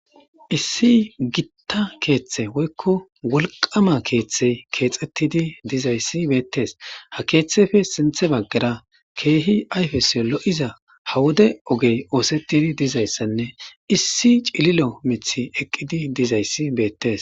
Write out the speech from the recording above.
Issi gitta keeththe woykko wolqama keeththey keexettidi dizayssi beettes ha keeththefe sinthe baggara keehi ayfesiyo lo7iza hawude ogey oosetidi dizayssanne issi cililo mithi eqqidi dizayssi beettes.